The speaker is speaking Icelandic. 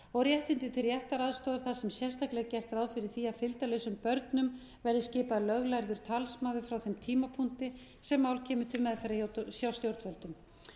og réttindi til réttaraðstoðar þar sem sérstaklega er gert ráð fyrir því að fylgdarlausum börnum verði skipaður löglærður talsmaður frá þeim tímapunkti sem mál kemur til meðferðar hjá stjórnvöldum